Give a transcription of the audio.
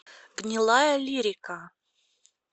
гнилаялирика